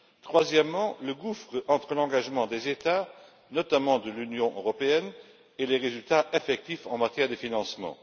troisièmement, le gouffre entre l'engagement des États, notamment de l'Union européenne, et les résultats effectifs en matière de financement.